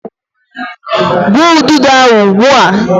gbuo ududo ahu ugbua!